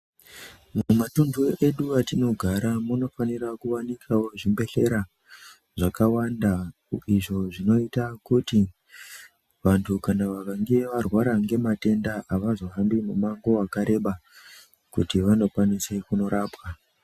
Mumatuntu edu atinogara munofanira kuwanikawo zvibhehlera, zvakawanda izvo zvinoita kuti vantu kana vakange varwara ngematenda avazohambi mumango wakareba, kuti vanokwanise kunorapwa.